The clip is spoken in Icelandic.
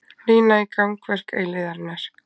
Rýna í gangverk eilífðarinnar.